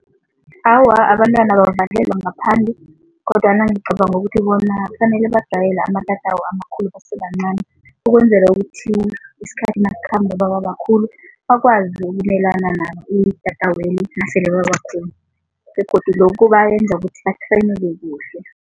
Awa, abantwana abavalelwa ngaphandle kodwana ngicabanga ukuthi bona kufanele bajayele amatatawu amakhulu basebancani ukwenzela ukuthi isikhathi nasikhamba bababakhulu bakwazi ukumelana nalo itataweli nasele babakhulu begodu lokhu bayenza ukuthi kuhle.